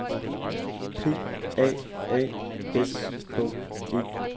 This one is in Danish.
P A A S K E